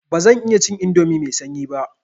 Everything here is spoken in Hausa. Ba zan iya cin indomi mai sanyi ba.